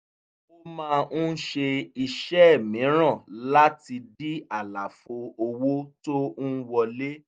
ó máa ń ṣe iṣẹ́ mìíràn láti dí àlàfo owó tó ń wọlé